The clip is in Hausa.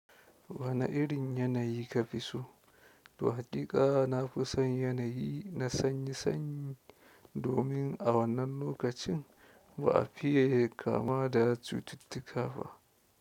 Wana irin yanayi ka fi so? To haƙiƙa nafi son yanayi na sanyi sanyi domin a wannan lokacin ba a fiye kamuwa da cututtuka ba.